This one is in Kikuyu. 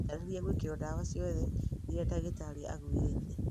Wĩrutanĩrie gwĩkĩrũo ndawa ciothe iria ndagĩtarĩ agwĩrĩte.